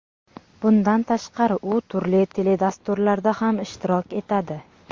Bundan tashqari u turli teledasturlarda ham ishtirok etadi.